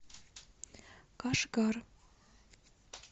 кашгар